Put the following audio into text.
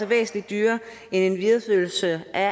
væsentlig dyrere end en videreførelse af